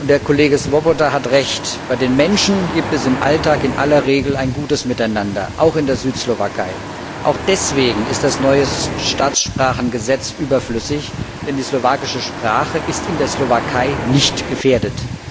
Der Kollege Swoboda hat Recht Bei den Menschen gibt es im Alltag in aller Regel ein gutes Miteinander, auch in der Südslowakei. Auch deswegen ist das neue Staatssprachengesetz überflüssig, denn die slowakische Sprache ist in der Slowakei nicht gefährdet.